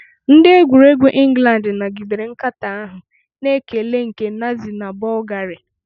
Ndị egwuregwu England nagidere nkatọ ahụ na ekele nke Nazi na Bulgaria.